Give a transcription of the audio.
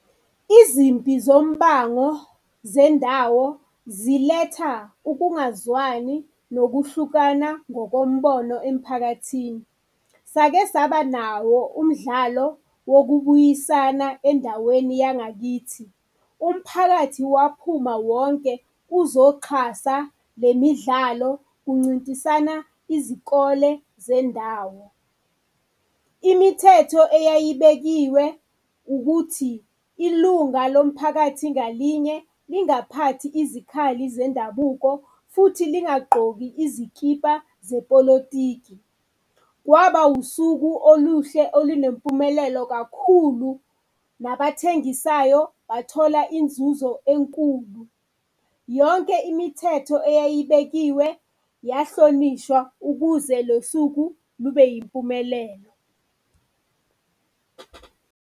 Izimpi zombango zendawo ziletha ukungazwani nokuhlukana ngokombono emphakathini. Sake saba nawo umdlalo wokubuyisana endaweni yangakithi. Umphakathi waphuma wonke uzoxhasa le midlalo kuncintisana izikole zendawo. Imithetho eyayibekiwe ukuthi, ilunga lomphakathi ngalinye lingaphathi izikhali zendabuko futhi lingagqoki izikipa zepolotiki. Kwaba usuku oluhle olunempumelelo kakhulu, nabathengisayo bathola inzuzo enkulu. Yonke imithetho eyayibekiwe yahlonishwa ukuze lo suku lube yimpumelelo.